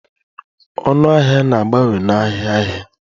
Ọnụ ahịa na-abawanye n'ahịa ahịa.